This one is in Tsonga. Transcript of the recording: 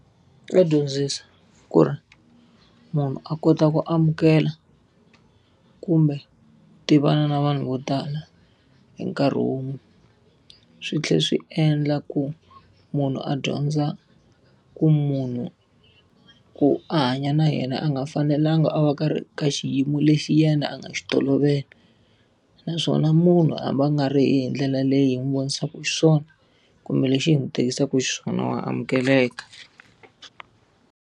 Ya dyondzisa ku ri munhu a kota ku amukela, kumbe tivana na vanhu vo tala hi nkarhi wun'we. Swi tlhela swi endla ku munhu a dyondza ku munhu ku a hanya na yena a nga fanelangi a va karhi ka xiyimo lexi yena a nga xi tolovela. Naswona munhu hambi a nga ri hi ndlela leyi hi n'wi vonisaka xiswona, kumbe leswi hi n'wi tirhisaka xiswona wa amukeleka.